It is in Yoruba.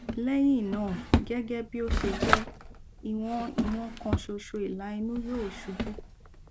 lẹyìn náà gẹgẹ bí ó ṣe jẹ ìwọn ìwọn kan ṣoṣo ìlà inú yóò ṣubú